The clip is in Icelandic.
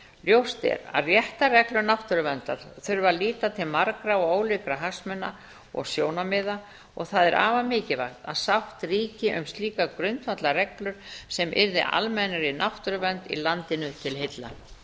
ljóst er að réttarreglur náttúruverndar þurfa að líta til margra og ólíkra hagsmuna og sjónarmiða og það er afar mikilvægt að sátt ríki um slíka grundvallarreglur sem yrði almennri náttúruvernd í landinu til heilla fer